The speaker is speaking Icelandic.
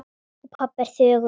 Og pabbi er þögull.